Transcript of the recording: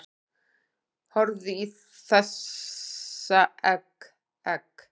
Horfðu í þessa egg, egg